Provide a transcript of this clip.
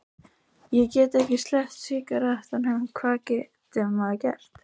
Ég get ekki sleppt sígarettunum, hvað getur maður gert?